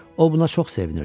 O buna çox sevinirdi.